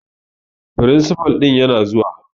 Firinsifal ɗin yana zuwa.